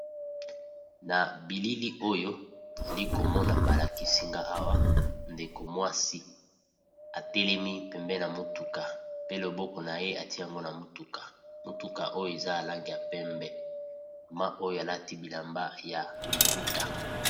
Nabililioyo nalikomona balakisinga awa ndeko mwasi atelemi pembeni ya mutuka pe loboko naye atiye yango na mutuka ya langi ya pembe alati bilamba ya maputa